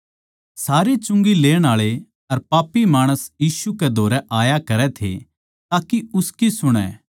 सारे चुंगी लेण आळे अर पापी माणस यीशु कै धोरै आया करै थे ताके उसकी सुणै